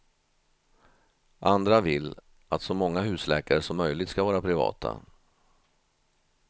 Andra vill att så många husläkare som möjligt ska vara privata.